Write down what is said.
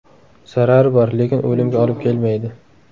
Zarari bor, lekin o‘limga olib kelmaydi.